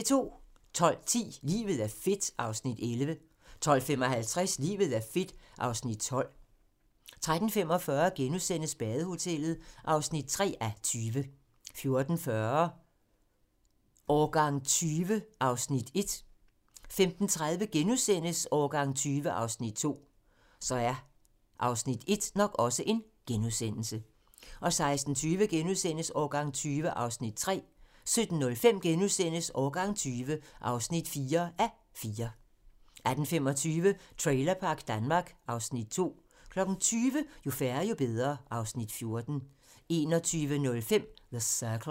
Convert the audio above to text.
12:10: Livet er fedt (Afs. 11) 12:55: Livet er fedt (Afs. 12) 13:45: Badehotellet (3:20)* 14:40: Årgang 20 (1:4) 15:30: Årgang 20 (2:4)* 16:20: Årgang 20 (3:4)* 17:05: Årgang 20 (4:4)* 18:25: Trailerpark Danmark (Afs. 2) 20:00: Jo færre, jo bedre (Afs. 14) 21:05: The Circle